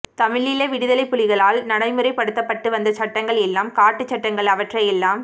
தமிழீழ விடுதலைப் புலிகளால் நடமுறைப்படுத்தப்பட்டு வந்த சட்டங்கள் எல்லாம் காட்டுச் சட்டங்கள் அவற்றையெல்லாம்